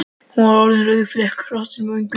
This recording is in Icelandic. Hún er orðin rauðflekkótt í vöngum.